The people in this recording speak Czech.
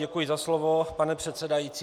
Děkuji za slovo, pane předsedající.